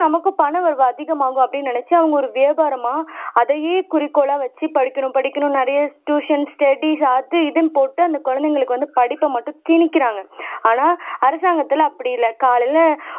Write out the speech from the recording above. நமக்கு பணவரவு அதிகம் ஆகும் அப்படின்னு நினச்சு அவங்க ஒரு வியாபாரமா அதையே குறிக்கோளா வச்சு படிக்கணும் படிக்கணும் நிறைய ட்யுஷன், ஸ்டடிஸ் அது இதுன்னு போட்டு அந்த குழந்தைங்களுக்கு வந்து படிப்பை மட்டும் திணிக்கிறாங்க ஆனா அரசாங்கத்துல அப்படி இல்ல காலைல